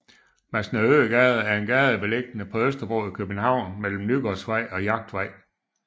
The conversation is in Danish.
Masnedøgade er en gade beliggende på Østerbro i København mellem Nygårdsvej og Jagtvej